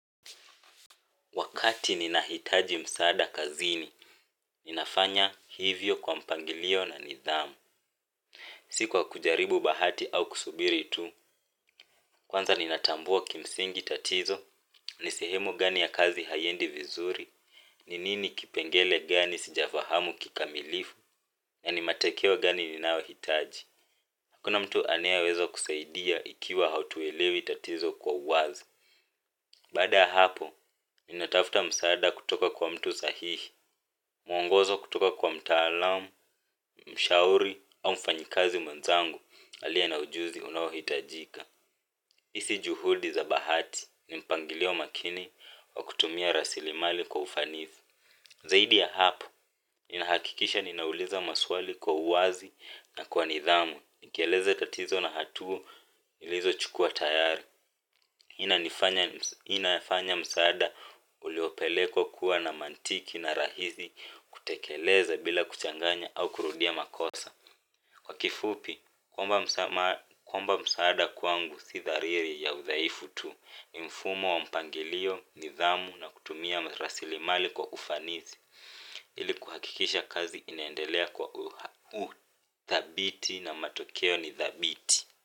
Wakati ninahitaji msaada kazini, ninafanya hivyo kwa mpangilio na nidhamu. Si kwa kujaribu bahati au kusubiri tu, kwanza nina tambua kimsingi tatizo, ni sehemu gani ya kazi haiendi vizuri, ni nini kipengele gani sijafahamu kikamilifu, na ni matokeo gani ninayohitaji. Hakuna mtu anayeweza kusaidia ikiwa hautuelewi tatizo kwa uwazi. Baada ya hapo, ninatafuta msaada kutoka kwa mtu sahihi. Mwongozo kutoka kwa mtaalam, mshauri au mfanyikazi mwenzangu aliye na ujuzi unaohitajika hii si juhudi za bahati ni mpangilio makini wa kutumia rasilimali kwa ufanisi. Zaidi ya hapo, ninahakikisha ninauliza maswali kwa uwazi na kwa nidhamu. Nikieleza tatizo na hatua nilizo chukua tayari hii inanifanya msaada uliopelekwa kuwa na mantiki na rahisi kutekeleza bila kuchanganya au kurudia makosa kwa kifupi, kwamba msaada kwangu si thariri ya udhaifu tu ni mfumo wa mpangilio, nidhamu na kutumia rasilimali kwa ufanisi ili kuhakikisha kazi inaendelea kwa uthabiti na matokeo ni thabiti.